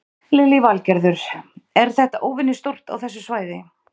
Lillý Valgerður: Er þetta óvenjustórt á þessu svæði?